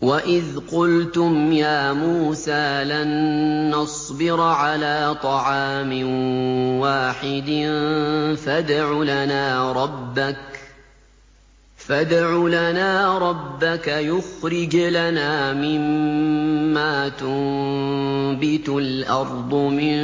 وَإِذْ قُلْتُمْ يَا مُوسَىٰ لَن نَّصْبِرَ عَلَىٰ طَعَامٍ وَاحِدٍ فَادْعُ لَنَا رَبَّكَ يُخْرِجْ لَنَا مِمَّا تُنبِتُ الْأَرْضُ مِن